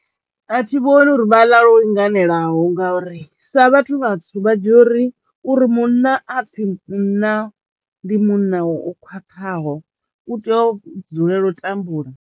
A thi vhoni uri vha ḽa lwo linganelaho ngauri sa vhathu vhatswu vha dzhia uri uri munna a pfhi munna ndi munna o khwaṱhaho u tea u dzulela u tambula.